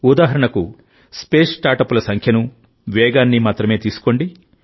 ఉదాహరణకు స్పేస్ స్టార్ట్అప్ల సంఖ్యను వేగాన్ని మాత్రమే తీసుకోండి